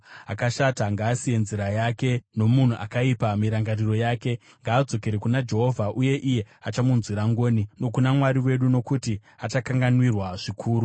Akashata ngaasiye nzira yake, nomunhu akaipa mirangariro yake. Ngaadzokere kuna Jehovha, uye iye achamunzwira ngoni, nokuna Mwari wedu, nokuti achakanganwirwa zvikuru.